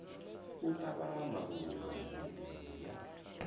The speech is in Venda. u tavha maluvha midini ya